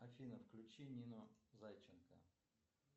афина включи нину зайченко